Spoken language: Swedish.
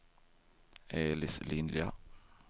Elis Lilja